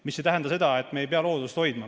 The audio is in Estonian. See ei tähenda seda, et me ei pea loodust hoidma.